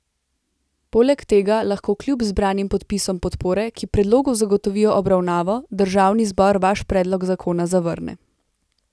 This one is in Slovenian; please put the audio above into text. Poleg tega lahko kljub zbranim podpisom podpore, ki predlogu zagotovijo obravnavo, državni zbor vaš predlog zakona zavrne.